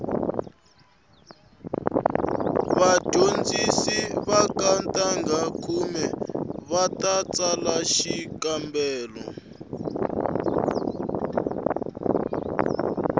vadyondzi va ka ntangha khume va ta tsala xikambelo